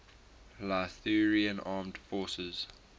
lithuanian armed forces